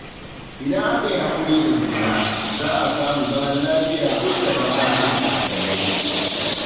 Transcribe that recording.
Idan aka yi hakuri da juna, za a samu zaman lafiya duk da bambancin addinai.